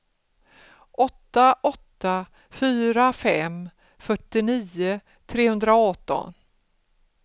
åtta åtta fyra fem fyrtionio trehundraarton